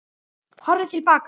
Horfið til baka.